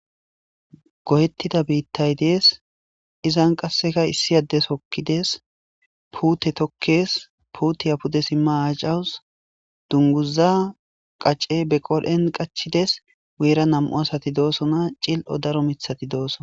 Gohettida biittay dees izan qasseka issi addes hokkidees puute tokkes puutiya pude simma acawus dunguza qacce be qodhen qachides weera nam7u asati doosona. cil'o daro mithati doosona.